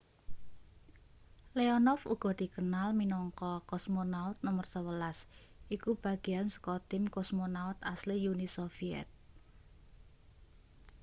leonov uga dikenal minangka cosmonaut no 11 iku bagean saka tim cosmonaut asli uni soviet